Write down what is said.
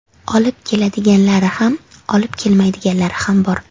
Olib keladiganlari ham, olib kelmaydiganlari ham bor.